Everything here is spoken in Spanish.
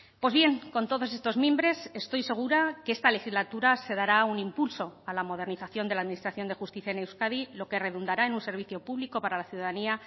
pues bien con todos estos mimbres estoy segura que esta legislatura se dará un impulso a la modernización de la administración de justicia en euskadi lo que redundará en un servicio público para la ciudadanía